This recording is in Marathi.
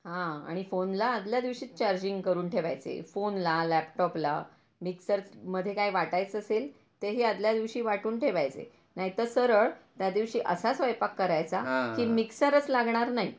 हा आणि फोनला आदल्या दिवशीच चार्जिंग करून ठेवायचे. फोनला, लॅपटॉपला, मिक्सर मध्ये काय वाटायचं असेल तेही आदल्या दिवशी वाटून ठेवायचे. नाही तर सरळ त्या दिवशी असा स्वयंपाक करायचा की मिक्सरच लागणार नाही.